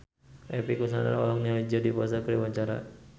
Epy Kusnandar olohok ningali Jodie Foster keur diwawancara